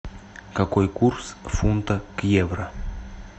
какой курс фунта к евро